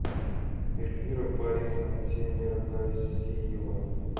эльвира борисовна темиргазиева